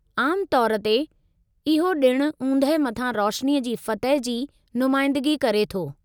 आम तौरु ते, इहो ॾिण ऊंदहि मथां रोशिनी जी फ़तह जी नुमाईंदिगी करे थो।